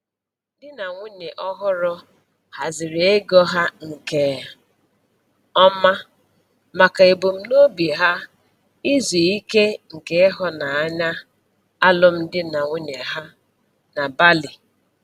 Di na nwunye ọhụrụ haziri ego ha nke ọma maka ebumnobi ha izu ike nke ịhụnanya alụm di na nwunye ha na Bali.